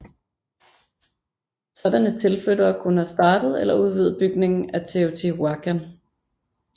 Sådanne tilflyttere kunne have startet eller udvidet bygningen af Teotihuacan